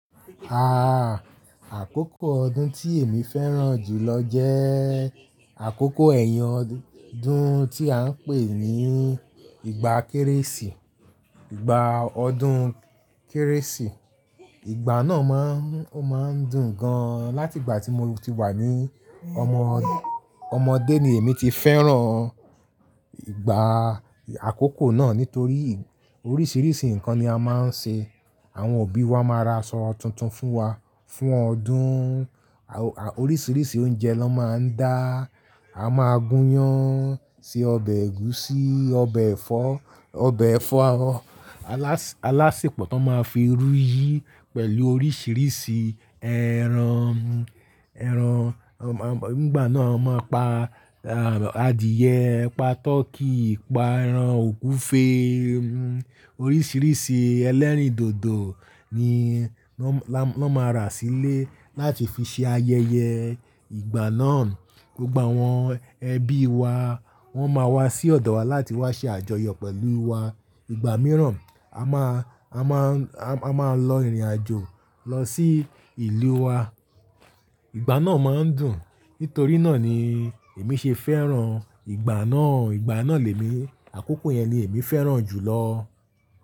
Aah, àkókò ọdún tí èmi fẹ́ràn jù lọ jẹ́ àkókò ẹ̀yìn ọdún tí à ń pè ní ìgbà Kérésì, ìgbà ọdún Kérésì. Ìgbà náà máa ń, ó máa ń dùn gan. Láti ìgbà tí mo ti wà ní ọmọ, ọmọdé ni èmi ti fẹ́ràn ìgbà àkókò náà nítorí oríṣiríṣi nǹkan ni a máa ń ṣe. Àwọn òbí wa máa ra aṣọ tuntun fún wa fún ọdún. Oríṣiríṣi oúnjẹ ló máa ń dá, a máa gúnyán, se ọbẹ̀ ẹ̀gúsí, ọbẹ̀ ẹ̀fọ́, ọbẹ̀ ẹ̀fọ́ alásèpọ̀ tó máa fi irú yí pẹ̀lú oríṣiríṣi ẹran. Ẹran, nígbà náà a máa pa adìẹ, pa tọkí, pa ẹran ògunfe. Oríṣiríṣi ẹlẹ́rìndòdò ni wọ́n máa ra sílé láti fi ṣe ayẹyẹ. Ìgbà náà gbogbo àwọn ẹbí wa wọ́n máa wá sí ọ̀dọ̀ wa láti wá ṣe àjọyọ̀ pẹ̀lú wa. Ìgbà mìíràn a máa, a máa, a máa lọ ìrìnàjò lọ sí ìlú wa. Ìgbà náà máa ń dùn. Nítorí náà ni èmi ṣe fẹ́ràn ìgbà náà. Ìgbà náà lẹ́mi, àkókò yẹn ni èmi fẹ́ràn jù lọ.